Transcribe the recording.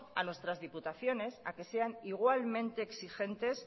a nuestras diputaciones a que sean igualmente exigentes